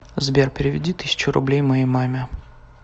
сбер переведи тысячу рублей моей маме